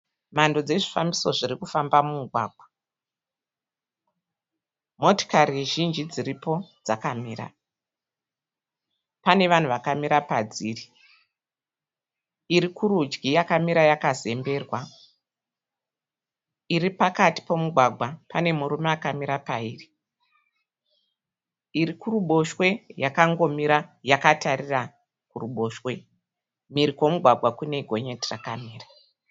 Mhando dzezvifambiso zviri kufamba mumugwagwa. Motikari zhinji dziripo dzakamira. Pane vanhu vakamira padziri. Iri kurudyi yakamira yakazemberwa. Iri pakati pomugwagwa pane murume akamira pairi. Iri kuruboshwe yakangomira yakatarira kuruboshwe. Mhiri kwomugwagwa kune gonyeti rakamira.